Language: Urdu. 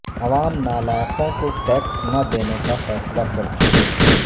عوام نالائقوں کو ٹیکس نہ دینے کا فیصلہ کرچکے